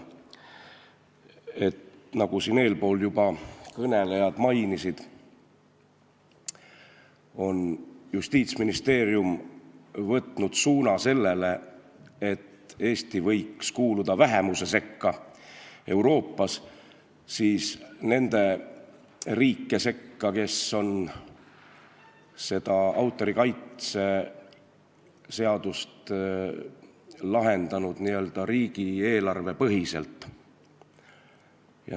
Nagu eespool kõnelejad juba mainisid, on Justiitsministeerium võtnud sellise suuna, et Eesti võiks kuuluda Euroopa vähemuse sekka – nende riikide hulka, kes on autorikaitse küsimuse lahendanud riigieelarvepõhiselt.